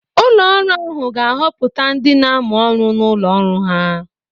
Ụlọ ọrụ ahụ ga-ahọpụta ndị na-amụ ọrụ n'ụlọ ọrụ ha.